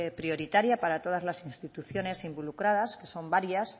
prioritaria para todas las instituciones involucradas que son varias